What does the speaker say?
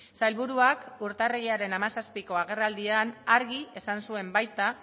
sailburuak urtarrilaren hamazazpiko agerraldian argi esan zuen baita